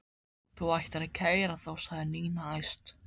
Þú ættir að kæra þá sagði Nína æst.